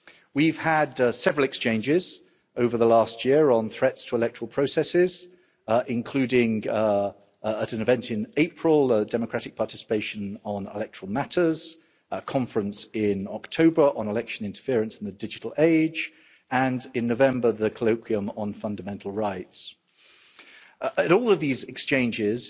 We've had several exchanges over the last year on threats to electoral processes, including at an event in April, Democratic Participation on Electoral Matters', a Conference in October on Election Interference in the Digital Age' and in November, the Colloquium on Fundamental Rights. At all of these exchanges